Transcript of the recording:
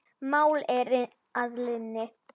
Mál er að linni.